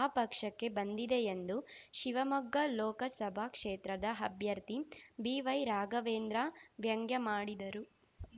ಆ ಪಕ್ಷಕ್ಕೆ ಬಂದಿದೆ ಎಂದು ಶಿವಮೊಗ್ಗ ಲೋಕಸಭಾ ಕ್ಷೇತ್ರದ ಅಭ್ಯರ್ಥಿ ಬಿವೈರಾಘವೇಂದ್ರ ವ್ಯಂಗ್ಯಮಾಡಿದರು